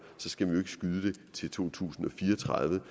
skal skyde det til to tusind og fire og tredive